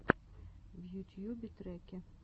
в ютьюбе треки